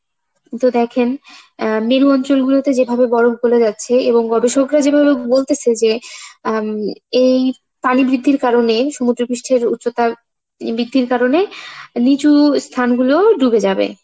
কিন্তু দেখেন আহ মেরু অঞ্চলগুলোতে যেভাবে বরফ গোলে যাচ্ছে এবং গবেষকরা যেভাবে বলতেছে যে উম এই পানি বৃদ্ধির কারনে সমুদ্র পৃষ্ঠের উচ্চতা বৃদ্ধির কারনে নিচু স্থানগুলো ডুবে যাবে